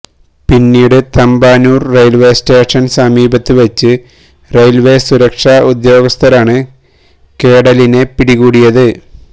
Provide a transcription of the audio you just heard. പിന്നീട് Thampanoor railway station സമീപത്ത് വെച്ച് റെയില്വേ സുരക്ഷാ ഉദ്യോഗസ്ഥരാണ് കേഡലിനെ പിടികൂടിയത്